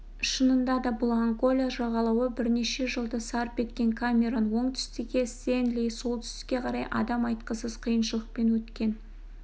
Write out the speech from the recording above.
шынында да бұл ангола жағалауы бірнеше жылды сарп етіп камерон оңтүстікке стенли солтүстікке қарай адам айтқысыз қиыншылықпен өткен